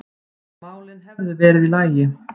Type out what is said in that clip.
málin hefðu verið í lagi.